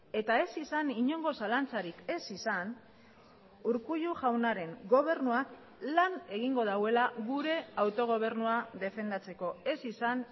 eta ez izan inongo zalantzarik ez izan urkullu jaunaren gobernuak lan egingo duela gure autogobernua defendatzeko ez izan